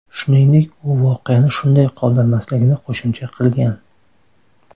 Shuningdek, u voqeani shunday qoldirmasligini qo‘shimcha qilgan.